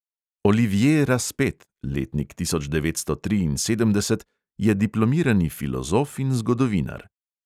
Olivje razpet (letnik tisoč devetsto triinsedemdeset) je diplomirani filozof in zgodovinar.